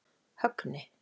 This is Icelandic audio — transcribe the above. Högni